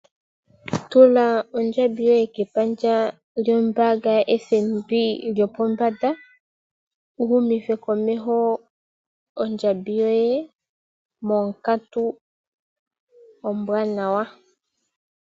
Tula ondjambi yoye kepandja lyombaanga ya FNB lyopombanda, wu humithe komeho ondjambi yoye monkatu ombwaanawa.